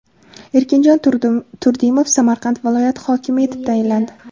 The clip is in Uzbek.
Erkinjon Turdimov Samarqand viloyati hokimi etib tayinlandi.